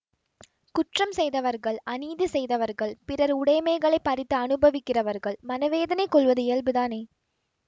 குற்றம் செய்தவர்கள் அநீதி செய்தவர்கள் பிறர் உடைமைகளைப் பறித்து அனுபவிக்கிறவர்கள் மனவேதனை கொள்வது இயல்புதானே